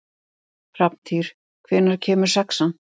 Hrafntýr, hvenær kemur sexan?